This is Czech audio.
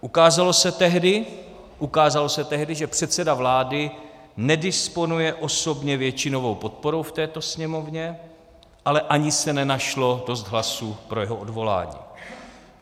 Ukázalo se tehdy, že předseda vlády nedisponuje osobně většinovou podporou v této Sněmovně, ale ani se nenašlo dost hlasů pro jeho odvolání.